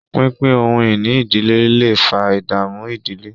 pínpín ohun-ìní ìdílé lẹ fà ìdààmú ìdílé.